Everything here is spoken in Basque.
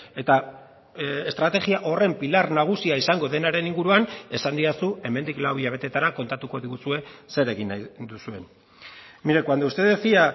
eta estrategia horren pilar nagusia izango denaren inguruan esan didazu hemendik lau hilabetetara kontatuko diguzue zer egin nahi duzuen mire cuando usted decía